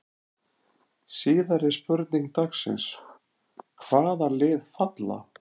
Síðari spurning dagsins: Hvaða lið falla?